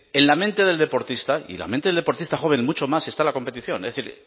en la mente del deportista y en la mente del deportista joven mucho más está la competición es decir